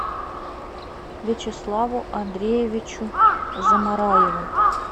вячеславу андреевичу замараеву